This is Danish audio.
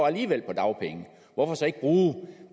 alligevel på dagpenge hvorfor så ikke bruge